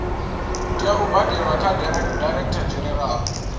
tea u badelwa kha directorgeneral